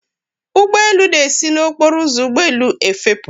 ụgbọ elu na-esi n'okporo ụzọ ụgbọ elu efepụ